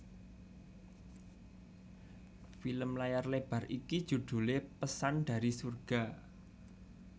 Film layar lebar iki judhulé Pesan dari Surga